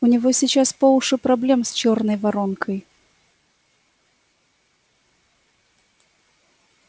у него сейчас по уши проблем с чёрной воронкой